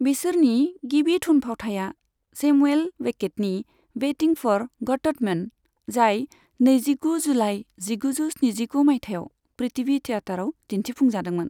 बिसोरनि गिबि थुनफावथाया सेमुएल बेकेटनि वेटिं फ'र गडटमोन, जाय नैजिगु जुलाइ जिगुजौ स्निजिगु मायथाइयाव पृथ्वी थिएटराव दिन्थिफुंजादोंमोन।